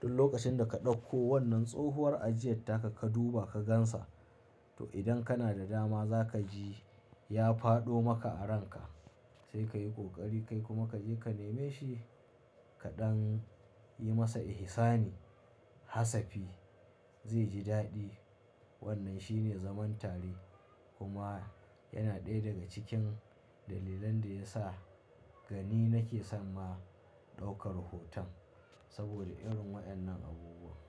duk lokacin da ka ɗauko wannan tsohuwar ajiyar taka ka duba ka gan sa. To idan kana da dama za ka ji ya fado maka a ranka sai ka yi ƙoƙari kai kuma ka je ka neme shi kaɗan yi masa ihi sani hasafi zai ji daɗi. Wannan shine zaman tare kuma yana ɗaya daga cikin dalilan da ya sa gani nake son ma ɗaukar hoton saboda irin waɗannan abubuwa.